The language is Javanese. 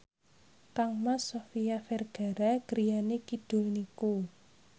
kangmas Sofia Vergara griyane kidul niku